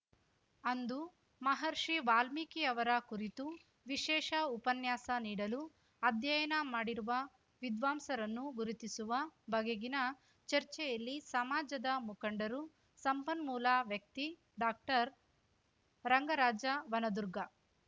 ಅಂದು ಮಹರ್ಷಿ ವಾಲ್ಮೀಕಿಯವರ ಕುರಿತು ವಿಶೇಷ ಉಪನ್ಯಾಸ ನೀಡಲು ಅಧ್ಯಯನ ಮಾಡಿರುವ ವಿದ್ವಾಂಸರನ್ನು ಗುರುತಿಸುವ ಬಗೆಗಿನ ಚರ್ಚೆಯಲ್ಲಿ ಸಮಾಜದ ಮುಖಂಡರು ಸಂಪನ್ಮೂಲ ವ್ಯಕ್ತಿ ಡಾಕ್ಟರ್ರಂಗರಾಜ ವನದುರ್ಗ